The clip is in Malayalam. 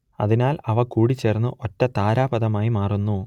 അതിനാൽ അവ കൂടിച്ചേർന്ന് ഒറ്റ താരാപഥമായി മാറുന്നു